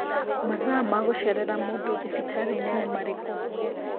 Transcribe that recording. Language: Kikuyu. Mathaa ma gũcerera mũndũ thibitarĩ-inĩ nĩ marĩkũ